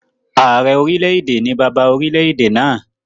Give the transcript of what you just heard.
Ààrẹ orílẹ̀-èdè ni bàbá orilẹ̀-èdè náà